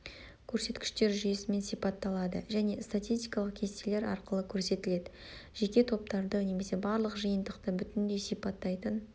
көрсеткіштер жүйесімен сипатталады және статистикалық кестелер арқылы көрсетіледі жеке топтарды немесе барлық жиынтықты бүтіндей сипаттайтын